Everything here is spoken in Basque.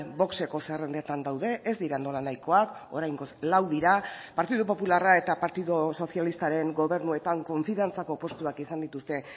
vox eko zerrendetan daude ez dira nolanahikoak oraingoz lau dira partidu popularra eta partidu sozialistaren gobernuetan konfiantzako postuak izan dituzte